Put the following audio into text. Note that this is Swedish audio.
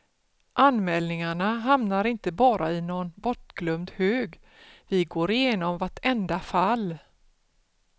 Anmälningarna hamnar inte bara i någon bortglömd hög, vi går igenom vartenda fall.